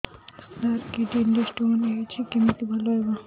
ସାର kidney ରେ stone ହେଇଛି କମିତି ଭଲ ହେବ